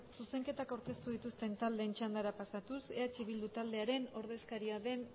zuzenketak aurkeztu dituzten taldeen txandara pasatuz eh bildu taldearen ordezkaria den